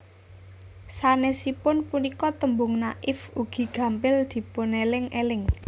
Sanesipun punika tembung Naif ugi gampil dipuneling eling